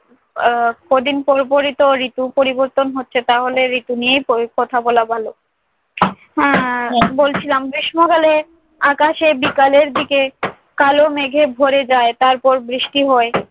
উহ কদিন পর পরইতো ঋতু পরিবর্তন হচ্ছে তাহলে ঋতু নিয়েই প~ কথা বলা ভালো। আহ আমি বলছিলাম গ্রীষ্মকালে আকাশে বিকালের দিকে কালো মেঘে ভরে যায়। তারপর বৃষ্টি হয়।